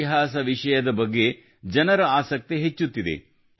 ಇತಿಹಾಸ ವಿಷಯದ ಬಗ್ಗೆ ಜನರ ಆಸಕ್ತಿ ಹೆಚ್ಚುತ್ತಿದೆ